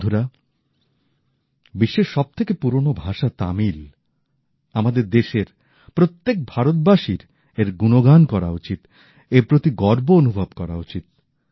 বন্ধুরা বিশ্বের সব থেকে পুরোনো ভাষা তামিল আমাদের দেশের প্রত্যেক ভারতবাসীর এর গুণগান করাই উচিৎ এর প্রতি গর্ব অনুভব করা উচিৎ